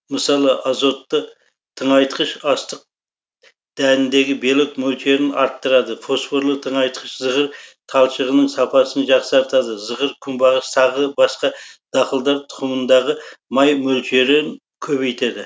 мысалы азотты тыңайтқыш астық дәніндегі белок мөлшерін арттырады фосфорлы тыңайтқыш зығыр талшығының сапасын жақсартады зығыр күнбағыс тағы басқа дақылдар тұқымындағы май мөлшерін көбейтеді